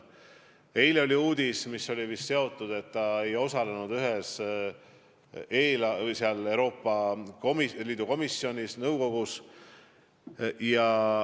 Eile oli uudis, et minister ei osalenud ühel Euroopa Liidu nõukogu kohtumisel.